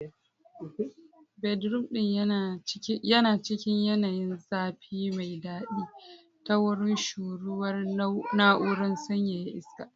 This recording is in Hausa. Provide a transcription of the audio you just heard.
Bedroom ɗin yana cikin yanayin zafi mai daɗi ta wurin shuruwar na'urar sanyaya iska.